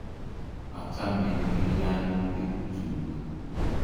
Achame tilyanutik chuk.